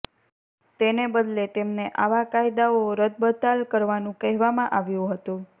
તેને બદલે તેમને આવા કાયદાઓ રદબતાલ કરવાનું કહેવામાં આવ્યું હતું